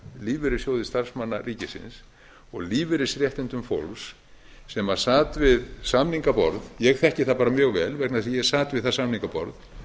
lífeyrissjóði starfsmanna ríkisins og lífeyrisréttindum fólks sem sat við samningaborð ég þekki það bara mjög vel vegna þess að ég sat við það samningaborð